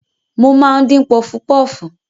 Mo máa ń dín pọfupọfu.